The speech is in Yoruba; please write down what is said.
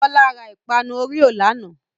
Bọla ra ìpanu Oreo lánàá.